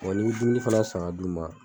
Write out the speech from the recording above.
n'i be dumuni fɛnɛ san k'a d'u ma